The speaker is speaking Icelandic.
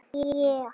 Bara upp!